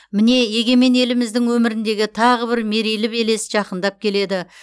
міне егемен еліміздің өміріндегі тағы бір мерейлі белес жақындап келеді